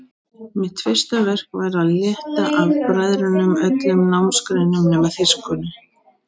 Mitt fyrsta verk var að létta af bræðrunum öllum námsgreinum nema þýskunni.